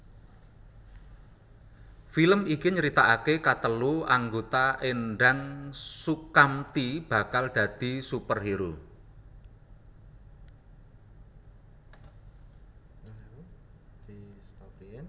Film iki nyeritakake katelu anggota Endang Soekamti bakal dadi superhero